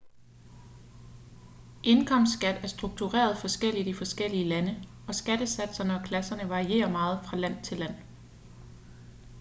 indkomstskat er struktureret forskelligt i forskellige lande og skattesatserne og klasserne varierer meget fra land til land